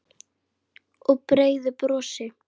Og breiðu brosi.